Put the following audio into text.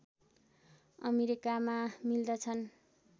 अमेरिकामा मिल्दछन्